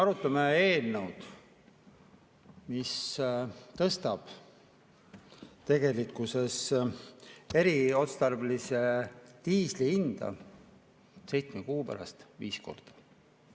Arutame eelnõu, mis tegelikkuses tõstab eriotstarbelise diisli hinda seitsme kuu pärast viis korda.